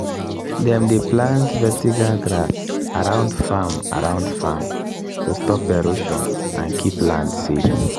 dem plant vetiver grass around farm around farm to stop erosion and keep land safe.